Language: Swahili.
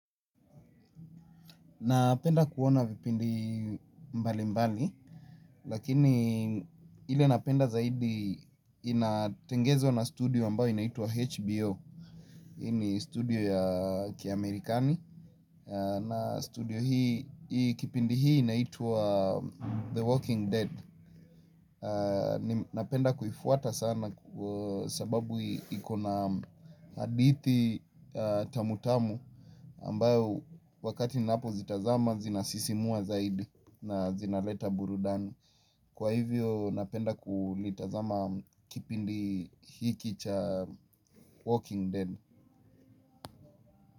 Napenda kuona vipindi mbalimbali, lakini ile napenda zaidi inatengezwa na studio ambayo inaitwa HBO. Hii ni studio ya kiamerikani, na studio hii, kipindi hii inaitwa The Walking Dead. Napenda kuifuata sana sababu iko na hadithi tamutamu ambayo wakati ninapozitazama zinasisimua zaidi. Na zinaleta burudani. Kwa hivyo napenda kulitazama kipindi hiki cha walking dead.